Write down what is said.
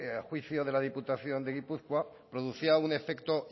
a juicio de la diputación de gipuzkoa producía un efecto